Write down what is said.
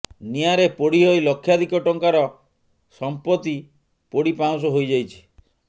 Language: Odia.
ନିଆଁରେ ପୋଡି ହୋଇ ଲକ୍ଷାଧିକ ଟଙ୍କାର ସମ୍ପତି ପୋଡି ପାଉଁଶ ହୋଇଯାଇଛି